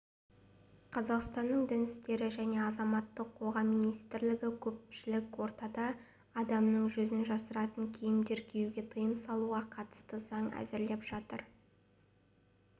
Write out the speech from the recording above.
қазақстанның дін істері және азаматтық қоғам министрлігі көпшілік ортада адамның жүзін жасыратын киімдер киюге тыйым салуға қатысты заң әзірлеп жатыр